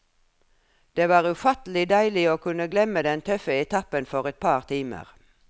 Det var ufattelig deilig å kunne glemme den tøffe etappen for et par timer.